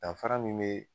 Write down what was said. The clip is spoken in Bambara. Danfara min bɛ